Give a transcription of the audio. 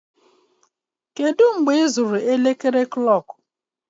Kedu mgbe ịzụrụ elekere?